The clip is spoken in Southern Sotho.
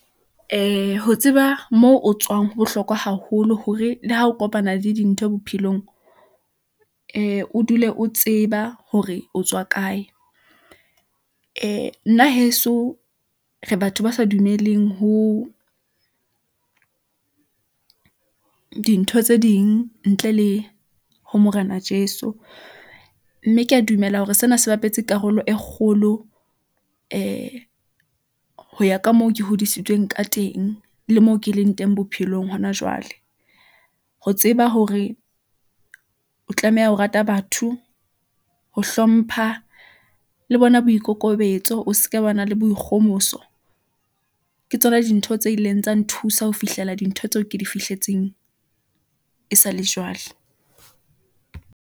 Ho tseba mo o tswang. Ho bohlokwa haholo hore le ha o kopana le dintho bophelong, o dule o tseba hore o tswa kae. nna heso re batho ba sa dumeleng ho dintho tse ding ntle le ho Morena Jeso, mme ke a dumela hore sena se bapetse karolo e kgolo ho ya ka moo ke hodisitsweng ka teng le mo ke leng teng bophelong hona jwale. Ho tseba hore o tlameha ho rata batho ho, hlompha le bona. Boikokobetso o ska ba na le boikgomoso. Ke tsona dintho tse ileng tsa nthusa ho fihlela dintho tseo ke di fihletseng e sa le jwale.